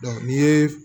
ni ye